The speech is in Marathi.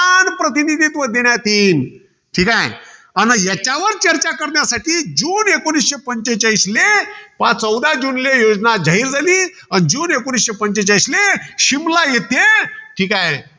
समान प्रतिनिधित्व देण्यात येईल. ठीकाय. आणि याच्यावर चर्चा करण्यासाठी जुन एकोणीसशे पंचेचाळीसले पहा चौदा जुनले योजना जाहीर झाली. अन जून एकोणीसशे पंचेचाळीसले शिमला येथे, ठीकाय.